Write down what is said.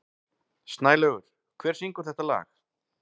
Snælaugur, hver syngur þetta lag?